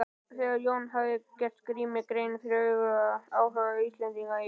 Þegar Jón hafði gert Grími grein fyrir áhuga Íslendinga í